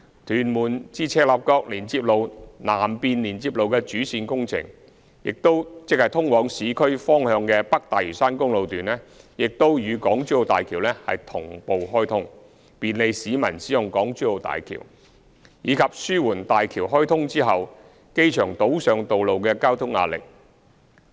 屯門至赤鱲角連接路南面連接路的主線工程，即通往市區方向的北大嶼山公路段，亦與港珠澳大橋同步開通，便利市民使用港珠澳大橋，以及紓緩大橋開通後機場島上道路的交通壓力。